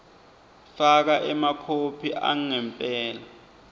faka emakhophi angempela